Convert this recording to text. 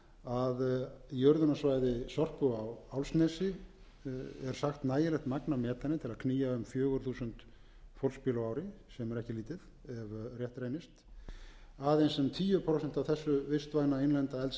að í urðunarsvæði sorpu á álfsnesi er sagt nægilegt magn af metani til að knýja um fjögur þúsund fólksbíla á ári sem er ekki lítið ef rétt reynist aðeins um tíu prósent af þessu vistvæna innlenda eldsneyti er